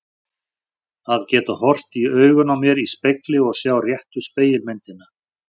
Að geta horft í augun á mér í spegli og sjá réttu spegilmyndina.